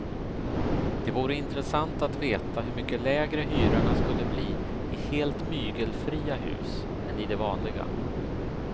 Det vore intressant att veta hur mycket lägre hyrorna skulle bli i helt mygelfria hus än i de vanliga.